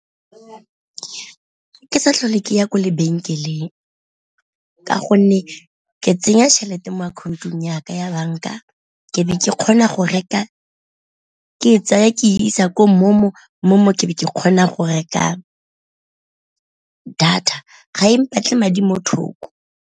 Ke sa tlhole ke ya kwa lebenkeleng ka gonne ke tsenya tšhelete mo akhaontong ya ka ya banka, ke be ke kgona go reka ke e tsaya ke isa ko MoMo, MoMo ke be ke kgona go reka data ga e mpatla madi mo thoko.